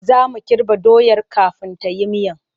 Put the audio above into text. Za mu kirɓa doyar kafin ta yi miyar.